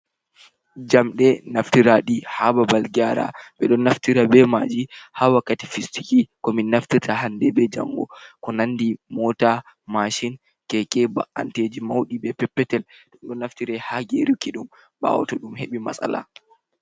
Jamɗe naftiraaɗi haa babal geera, ɓe ɗon naftira be maaji haa wakkati fistiki, ko min naftirta hannde be janngo ko nandi moota, masin, keke, ba’anteeji mawɗi be peppetel, ɗon naftira haa geeruki ɗum, ɓaawo to ɗum heɓi maasala.